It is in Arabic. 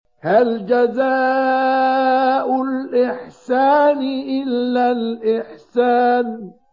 هَلْ جَزَاءُ الْإِحْسَانِ إِلَّا الْإِحْسَانُ